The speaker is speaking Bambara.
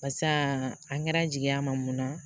Barisa an kɛra jigiya ma mun na